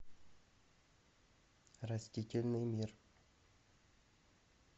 растительный мир